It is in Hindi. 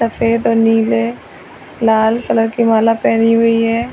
सफेद और नीले लाल कलर की माला पहनी हुई है।